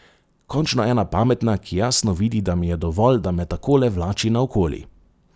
Končno ena pametna, ki jasno vidi, da mi je dovolj, da me takole vlači naokoli.